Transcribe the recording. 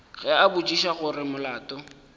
ge a botšiša gore molato